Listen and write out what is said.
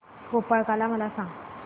गोपाळकाला मला सांग